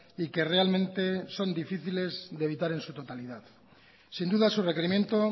y que realmente son difíciles de evitar en su totalidad sin duda su requerimiento